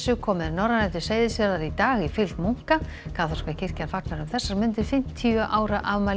kom með Norrænu til Seyðisfjarðar í dag í fylgd munka kaþólska kirkjan fagnar um þessar mundir fimmtíu ára afmæli